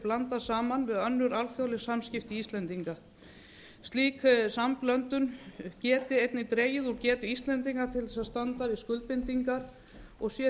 blandað saman við önnur alþjóðleg samskipti íslendinga slík samblöndun geti einnig dregið úr getu íslendinga til þess að standa við skuldbindingar og sé